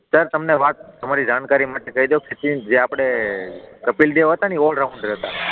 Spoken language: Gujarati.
સર તમને વાત તમારી જાણકારી માટે કહી દઉં કે જે આપણે કપિલ દેવ હતા ને ઓલ રાઉન્ડર હતાં